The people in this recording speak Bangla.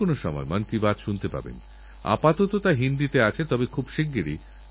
আমি সোনাল আর শ্রীমান মোহাত্রেজীকেএই অভিনব প্রয়াসের জন্য অনেক অনেক অভিনন্দন জানাই